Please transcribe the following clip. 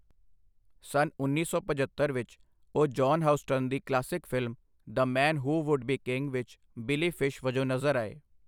ਸੰਨ ਉੱਨੀ ਸੌ ਪਝੱਤਰ ਵਿੱਚ ਉਹ ਜੌਹਨ ਹਿਊਸਟਨ ਦੀ classic film 'the man who would be king' ਵਿੱਚ ਬਿਲੀ ਫਿਸ਼ ਵਜੋਂ ਨਜ਼ਰ ਆਏ।